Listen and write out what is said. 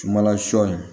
Sumanla sɔ in